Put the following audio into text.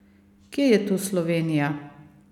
Kje je tu Slovenija?